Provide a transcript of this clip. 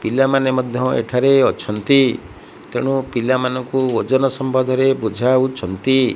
ପିଲାମାନେ ମଧ୍ୟ ଏଠାରେ ଅଛନ୍ତି ତେଣୁ ପିଲାମାନଙ୍କୁ ଓଜନ ସମ୍ଭଧ ରେ ବୁଝାଉଛନ୍ତି।